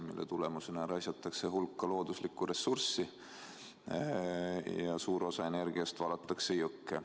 Selleks raisatakse suur hulk looduslikku ressurssi ja suur osa energiast valatakse jõkke.